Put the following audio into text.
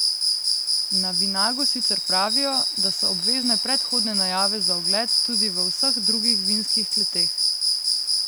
Na Vinagu sicer pravijo, da so obvezne predhodne najave za ogled tudi v vseh drugih vinskih kleteh.